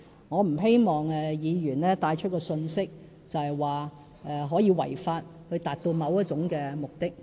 我不希望議員帶出一項信息，就是可以違法來達到某一種目的。